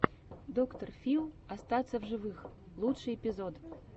доктор фил остаться в живых лучший эпизод